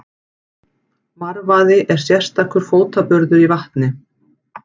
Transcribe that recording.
Marvaði er sérstakur fótaburður í vatni.